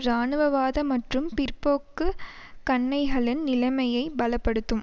இராணுவவாத மற்றும் பிற்போக்கு கன்னைகளின் நிலைமையை பல படுத்தும்